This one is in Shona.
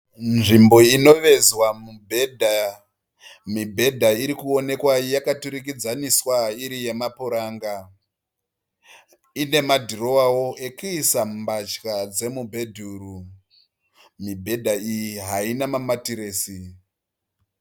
Nzvimbo inovezwa mibhedha. Mibhedha irikuonekwa yakaturikidzaniswa iri yemapuranga . Ine madhurowawo ekuisa mbatya dzemu bhedhuru. Mibhedha iyi haina mamatiresi.